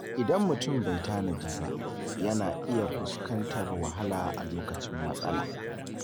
Idan mutum bai tanadi ba, yana iya fuskantar wahala a lokacin matsala.